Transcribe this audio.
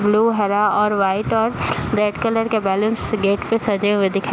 blue हरा और white और रेड कलर के बलूंस गेट पे सजे हुए दिखा --